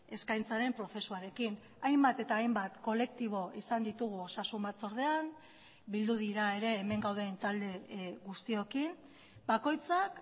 eskaintzaren prozesuarekin hainbat eta hainbat kolektibo izan ditugu osasun batzordean bildu dira ere hemen gauden talde guztiokin bakoitzak